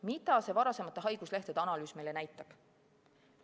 Mida see varasemate haiguslehtede analüüs meile näitab?